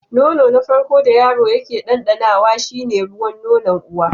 Nono na farko da yaro yake ɗanɗanawa shi ne ruwan nonon uwa.